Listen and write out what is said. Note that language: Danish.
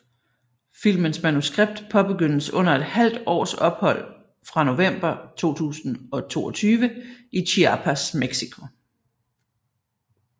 Filmens manuskript påbegyndes under et halvt års ophold fra november 2022 i Chiapas Mexico